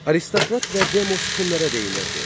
Aristokrat və Demos kimlərə deyilirdi?